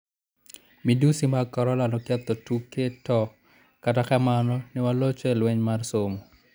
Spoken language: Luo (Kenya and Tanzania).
"Madhusi mag Corona noketho tuke to kata kamano ne walocho e lweny mar somo.